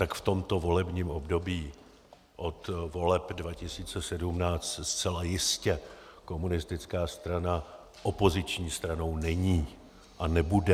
Tak v tomto volebním období od voleb 2017 zcela jistě komunistická strana opoziční stranou není a nebude.